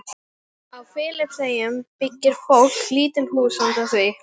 Á Filippseyjum byggir fólk lítil hús handa því.